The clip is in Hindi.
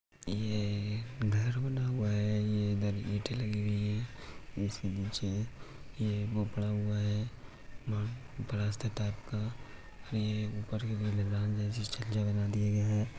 ये घर बना हुआ है ये इधर ईंटें लगी हुई हैं यह वो पड़ा हुआ है प्लास्टर टाइप का ये ऊपर की मैदान जैसी छज्जा बना दिया गया है।